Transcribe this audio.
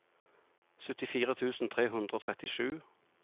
syttifire tusen tre hundre og trettisju